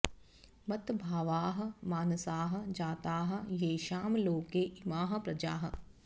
मत् भावाः मानसाः जाताः येषाम् लोके इमाः प्रजाः